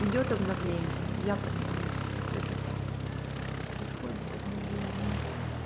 идёт обновление я понимаю что это так что происходит обновление